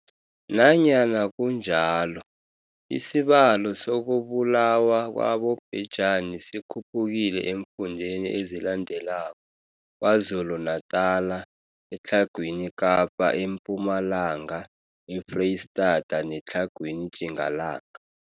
Nanyana kunjalo, isibalo sokubulawa kwabobhejani sikhuphukile eemfundeni ezilandelako, KwaZulu-Natala, eTlhagwini Kapa, eMpumalanga, eFreyistata neTlhagwini Tjingalanga.